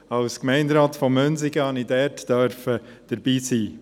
Als Gemeinderat von Münsingen durfte ich dabei sein.